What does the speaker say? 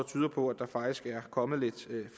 tyder på at der faktisk er kommet lidt